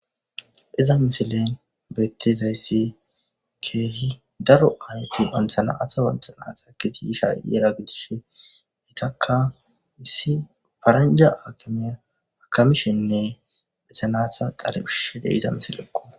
"Hiza misilen beetizasi keehi daro aayoti banta na'ata banta na'ata ekkidi yiza gidishin eetaka issi paranjja aakimey akamishenne eeta nayita dhale ushishin be'iza misilekko."